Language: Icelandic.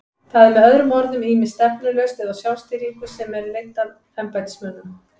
Það er með öðrum orðum ýmist stefnulaust eða á sjálfstýringu sem er leidd af embættismönnum.